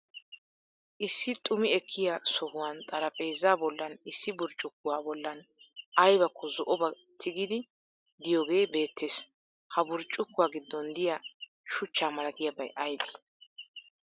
Issi xumi ekkiya sohuwan xarapheeza bollan issi burccukkuwa bollan ayibakko zo'obaa tigiiddi diyogee beettes. Ha burccukkuwaa giddon diya Shuchcha malatiyaabay ayibe?